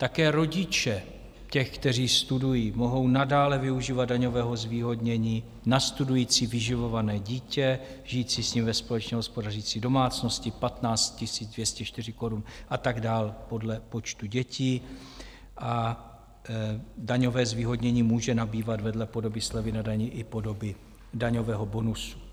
Také rodiče těch, kteří studují, mohou nadále využívat daňového zvýhodnění na studující vyživované dítě žijící s ním ve společně hospodařící domácnosti 15 204 korun a tak dál, podle počtu dětí, a daňové zvýhodnění může nabývat vedle podoby slevy na dani i podoby daňového bonusu.